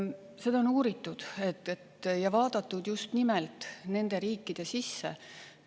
Seda on uuritud ja vaadatud just nimelt nende riikide sisse.